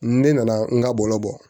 Ne nana n ka bɔlɔbɔ